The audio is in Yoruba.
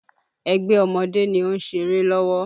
Ẹgbẹ́ ọmọdé ni ó ń ṣeré lọ́wọ́